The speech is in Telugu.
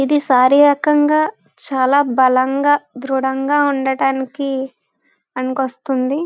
ఇది శారీరకంగా చాలా బలం గ ధృడంగా ఉండడానికి పనికి వస్తుంది